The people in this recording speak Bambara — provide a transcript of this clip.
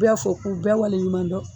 bɛɛ fo k'u bɛɛ wale ɲuman dɔn.